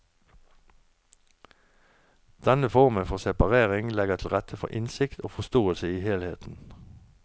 Denne formen for separering legger til rette for innsikt og forståelse i helheten.